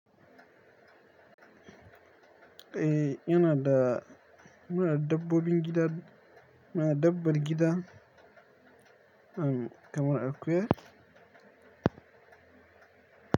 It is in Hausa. Eh ina da muna dabbobin gida, muna dabbar gida, am kamar akuya.